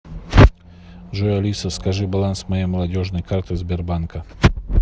джой алиса скажи баланс моей молодежной карты сбербанка